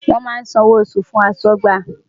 Wọ́n máa san owó oṣù fún aṣọ́gbà.